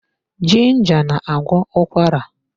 Ginger na-agwọ ụkwara.